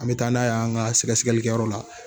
An bɛ taa n'a ye an ka sɛgɛsɛlikɛyɔrɔ la